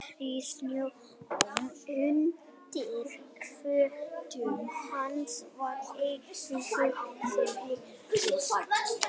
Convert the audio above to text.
Marrið í snjónum undir fótum hans var eina hljóðið sem heyrðist.